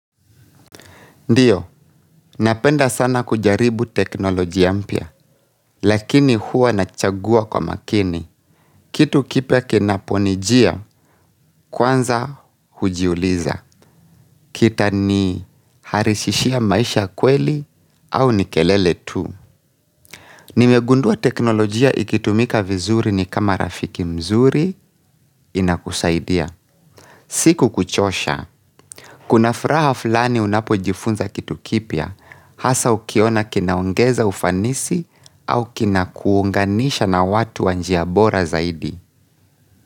Ndiyo, napenda sana kujaribu teknolojia mpya, lakini huwa nachagua kwa makini. Kitu kipya kinaponijia, kwanza hujiuliza. Kitaniharishishia maisha kweli au ni kelele tu. Nimegundua teknolojia ikitumika vizuri ni kama rafiki mzuri inakusaidia. Sikukuchosha. Kuna furaha fulani unapojifunza kitu kipya, hasa ukiona kinaongeza ufanisi au kinakuunganisha na watu wanjia bora zaidi.